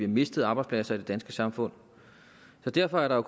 mistet arbejdspladser i det danske samfund derfor er der